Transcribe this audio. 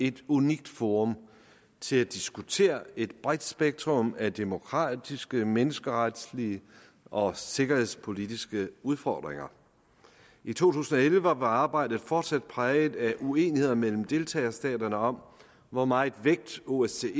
et unikt forum til at diskutere et bredt spektrum af demokratiske menneskeretlige og sikkerhedspolitiske udfordringer i to tusind og elleve var arbejdet fortsat præget af uenigheder mellem deltagerstaterne om hvor meget vægt osce